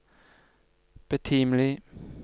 betimelig